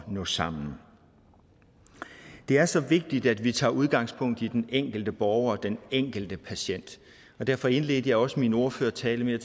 at nå sammen det er så vigtigt at vi tager udgangspunkt i den enkelte borger den enkelte patient og derfor indledte jeg også min ordførertale med at